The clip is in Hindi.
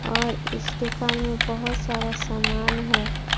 और इस दुकान में बहोत सारा सामान है।